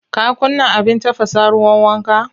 Ka kunna abin tafasa ruwan wanka?